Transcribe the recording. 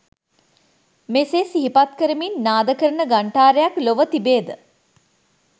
මෙසේ සිහිපත්කරමින් නාද කරන ඝන්ඨාරයක් ලොව තිබේ ද?